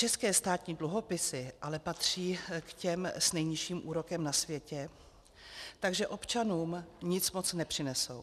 České státní dluhopisy ale patří k těm s nejnižším úrokem na světě, takže občanům nic moc nepřinesou.